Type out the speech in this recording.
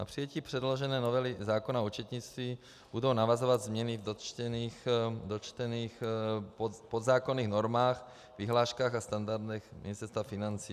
Na přijetí předložené novely zákona o účetnictví budou navazovat změny v dotčených podzákonných normách, vyhláškách a standardech Ministerstva financí.